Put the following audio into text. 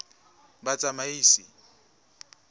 batsamaisi